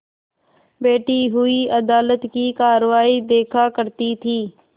बैठी हुई अदालत की कारवाई देखा करती थी